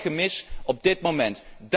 Dat is een groot gemis op dit moment.